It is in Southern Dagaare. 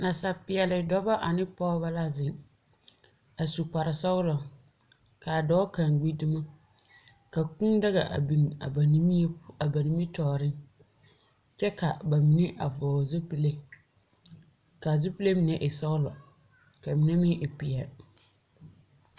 Nasaapeɛl dɔbɔ ane pɔgebɔ la zeŋ. A su kparre sɔglɔ, ka a dɔɔ kaŋa gbi dumo. Ka kūū daga a biŋ a nimmie, a ba nimmitɔɔreŋ, kyɛ ka a ba mine a vʋgele zupile. Ka a zupile mine e sɔglɔ ka a mine meŋ e peɛl.